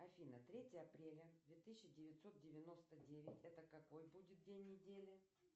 афина третье апреля две тысячи девятьсот девяносто девять это какой будет день недели